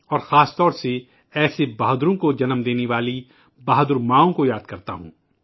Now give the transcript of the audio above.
اور خاص طور پر ان بہادر ماؤں کو یاد کرتا ہوں جنہوں نے ایسے بہادروں کو جنم دیا